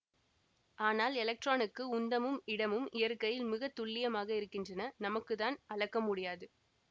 ஆனால் எலக்ட்ரானுக்கு உந்தமும் இடமும் இயற்கையில் மிகத்துல்லியமாக இருக்கின்றன நமக்குத்தான் அளக்க முடியாது